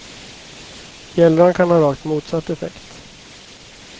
Bjällran kan ha rakt motsatt effekt.